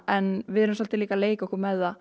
en við erum svolítið líka að leika okkur með það